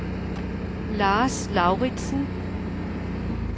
Lars Lauritzen